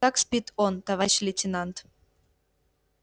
так спит он товарищ лейтенант